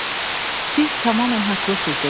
"Siz tamamilə haqlısınız" dedim.